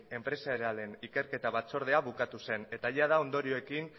enpresarialen ikerketa batzordea bukatu zen eta jada ondorioekin